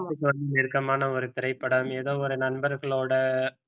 நெருக்கமான ஒரு திரைப்படம் ஏதோ ஒரு நண்பர்களோட